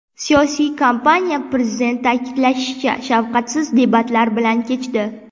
Siyosiy kampaniya, prezident ta’kidlashicha, shafqatsiz debatlar bilan kechdi.